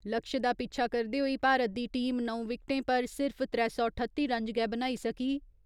लक्ष्य दा पिच्छा करदे होई भारत दी टीम नौ विकटें पर सिर्फ त्रै सौ ठत्ती रन्ज गै बनाई सकी।